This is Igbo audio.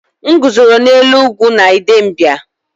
M guzoro n’elu ugwu na Idembia